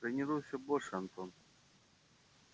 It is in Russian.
тренируйся больше антон